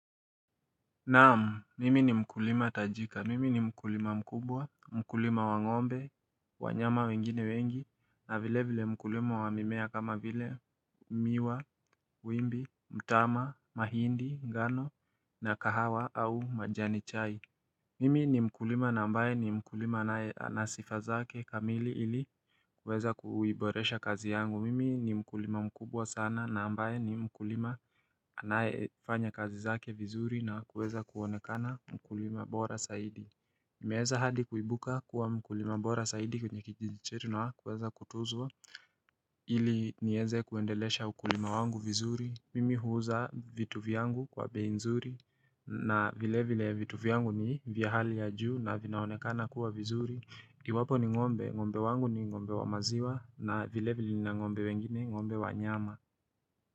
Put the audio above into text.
Naam, mimi ni mkulima tajika, mimi ni mkulima mkubwa, mkulima wangombe, wanyama wengine wengi, na vile vile mkulima wamimea kama vile miwa, wimbi, mtama, mahindi, ngano na kahawa au majani chai Mimi ni mkulima na ambaye ni mkulima anae anasifazake kamili ili kuweza kuiboresha kazi yangu Mimi ni mkulima mkubwa sana na ambaye ni mkulima anae fanya kazi zake vizuri na kuweza kuonekana mkulima bora saidi nimeeza hadi kuibuka kuwa mkulima bora saidi kwenye kijiji chetu na kuweza kutuzua ili nieze kuendelesha mkulima wangu vizuri Mimi huuza vitu vyangu kwa bei nzuri na vile vile vitu vyangu ni vya hali ya juu na vinaonekana kuwa vizuri. Iwapo ni ngombe, ngombe wangu ni ngombe wa maziwa na vile vile na ngombe wengine ngombe wa nyama.